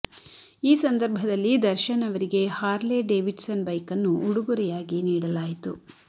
ಈ ಸಂದರ್ಭದಲ್ಲಿ ದರ್ಶನ್ ಅವರಿಗೆ ಹಾರ್ಲೆ ಡೆವಿಡ್ ಸನ್ ಬೈಕನ್ನು ಉಡುಗೊರೆಯಾಗಿ ನೀಡಲಾಯಿತು